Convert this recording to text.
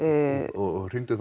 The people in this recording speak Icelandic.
og hringdu þá